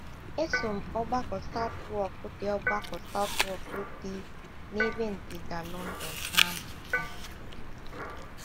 “ Eso m Ọgbakọ Southwark dị Ọgbakọ Southwark dị n’ebe ndịda London na - amụ ihe.